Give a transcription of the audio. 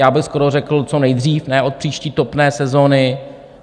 Já bych skoro řekl co nejdřív, ne od příští topné sezony.